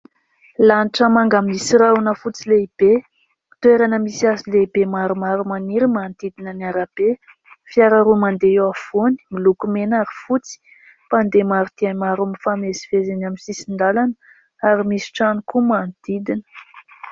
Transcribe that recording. Lanitra manga misy rahona fotsy lehibe ; toerana misy hazo lehibe maromaro maniry, manodidina ny arabe ; fiara roa mandeha eo afovoany, miloko mena ary fotsy ; mpandeha maro dia maro mifamezivezy eny amin'ny sisin-dalana ; ary misy trano koa manodidina.